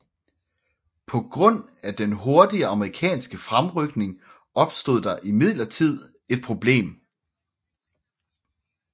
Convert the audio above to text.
På grund af den hurtige amerikanske fremrykning opstod der imidlertid et problem